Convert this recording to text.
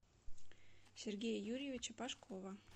сергея юрьевича пашкова